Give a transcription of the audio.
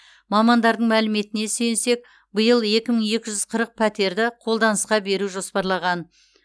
мамандардың мәліметіне сүйенсек биыл екі мың екі жүз қырық пәтерді қолданысқа беру жоспарланған